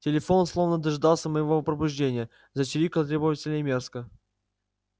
телефон словно дожидался моего пробуждения зачирикал требовательно и мерзко